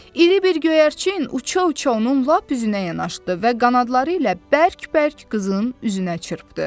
İri bir göyərçin uça-uça onun lap üzünə yanaşdı və qanadları ilə bərk-bərk qızın üzünə çırpdı.